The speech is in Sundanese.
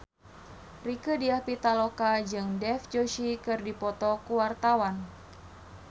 Rieke Diah Pitaloka jeung Dev Joshi keur dipoto ku wartawan